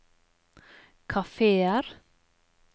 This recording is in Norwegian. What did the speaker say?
kafeer